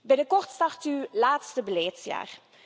Binnenkort start uw laatste beleidsjaar.